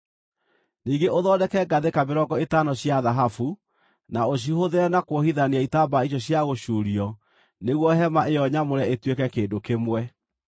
Ningĩ ũthondeke ngathĩka mĩrongo ĩtano cia thahabu, na ũcihũthĩre na kuohithania itambaya icio cia gũcuurio nĩguo hema ĩyo nyamũre ĩtuĩke kĩndũ kĩmwe.